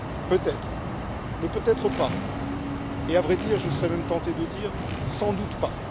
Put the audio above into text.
Peut être, mais peut être pas, et à vrai dire, je serais même tenté de dire, sans doute pas.